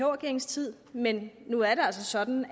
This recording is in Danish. regeringens tid men nu er det altså sådan